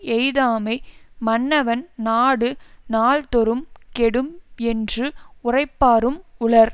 எய்தாமை மன்னவன் நாடு நாள்தொறும்கெடும் என்று உரைப்பாரும் உளர்